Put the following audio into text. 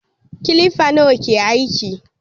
Kilifa nawa ke aiki?